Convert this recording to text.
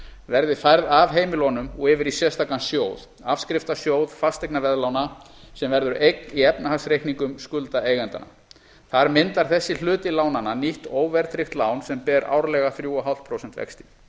verði færð af heimilunum og yfir í sérstakan sjóð afskriftasjóð fasteignaveðlána sem verður eign í efnahagsreikningum skuldaeigendanna þar myndar þessi hluti lánanna nýtt óverðtryggt lán sem ber árlega þrjú og hálft prósent vexti